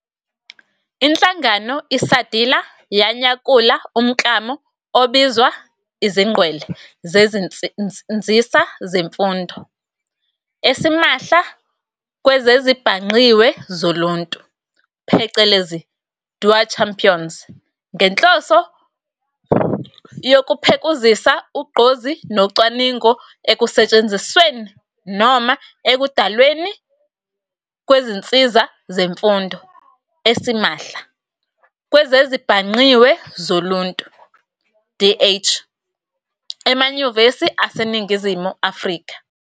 Inhlangano iSADiLaR yanyakula umklamo obizwa iziNgqwele zeziNzisa zeMfundo esimahla kwezezibhangqiwe zoluntu, phecelezi "DH-OER Champions" ngenhloso yokuphekuzisa ugqozi nocwaningo ekusetshenzisweni noma ekudalweni kwezinsiza zemfundo esimahla kwezezibhangqiwe zoluntu, DH, emanyuvesi aseNingizimu afrika.